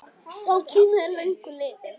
Sá tími er löngu liðinn.